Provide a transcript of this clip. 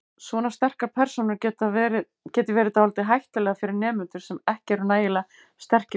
Svona sterkar persónur geti verið dálítið hættulegar fyrir nemendur sem ekki eru nægilega sterkir sjálfir.